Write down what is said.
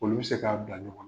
Olu be se k'a bila ɲɔgɔn na.